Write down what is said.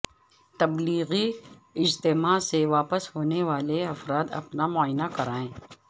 تبلیغی اجتماع سے واپس ہونے والے افراد اپنا معائنہ کرائیں